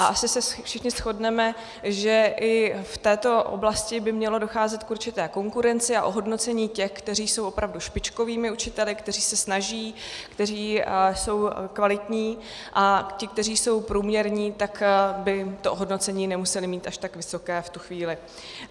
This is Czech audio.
A asi se všichni shodneme, že i v této oblasti by mělo docházet k určité konkurenci a ohodnocení těch, kteří jsou opravdu špičkovými učiteli, kteří se snaží, kteří jsou kvalitní, a ti, kteří jsou průměrní, tak by to ohodnocení nemuseli mít až tak vysoké v tu chvíli.